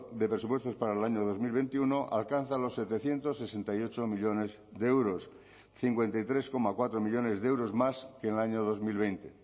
de presupuestos para el año dos mil veintiuno alcanza los setecientos sesenta y ocho millónes de euros cincuenta y tres coma cuatro millónes de euros más que en el año dos mil veinte